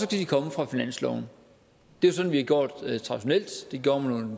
de komme fra finansloven det er sådan vi har gjort traditionelt det gjorde man